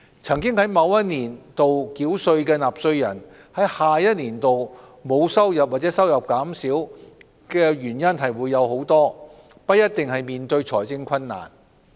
曾在某一年度繳稅的納稅人在下一年度沒有收入或收入減少，原因眾多，不一定代表他們面對財政困難。